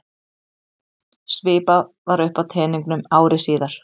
Svipað var uppi á teningnum ári síðar.